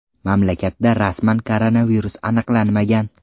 Mamlakatda rasman koronavirus aniqlanmagan.